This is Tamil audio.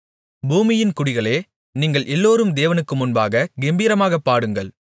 பூமியின் குடிகளே நீங்கள் எல்லோரும் தேவனுக்கு முன்பாகக் கெம்பீரமாகப் பாடுங்கள்